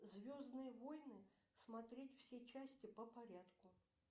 звездные войны смотреть все части по порядку